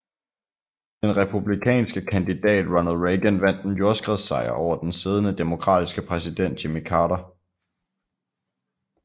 Den republikanske kandidat Ronald Reagan vandt en jordskredssejr over den siddende demokratiske præsident Jimmy Carter